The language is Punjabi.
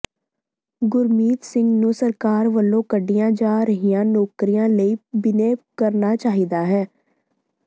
ਗੁਰਮੀਤ ਸਿੰਘ ਨੂੰ ਸਰਕਾਰ ਵੱਲੋਂ ਕੱਢੀਆਂ ਜਾ ਰਹੀਆਂ ਨੌਕਰੀਆਂ ਲਈ ਬਿਨੈ ਕਰਨਾ ਚਾਹੀਦਾ ਹੈ